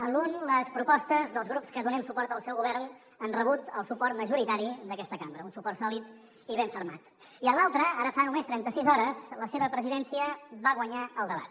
en l’un les propostes dels grups que donem suport al seu govern han rebut el suport majoritari d’aquesta cambra un suport sòlid i ben fermat i en l’altra ara fa només trenta sis hores la seva presidència va guanyar el debat